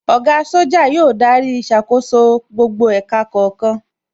Oga Soja yóò darí ìṣàkóso gbogbo ẹ̀ka kọ̀ọ̀kan